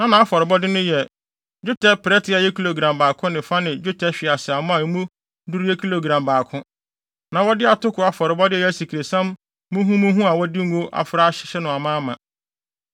Na nʼafɔrebɔde no yɛ: dwetɛ prɛte a ɛyɛ kilogram baako ne fa ne dwetɛ hweaseammɔ a emu duru yɛ kilogram baako. Na wɔde atoko afɔrebɔde a ɛyɛ asikresiam muhumuhu a wɔde ngo afra ahyehyɛ no amaama;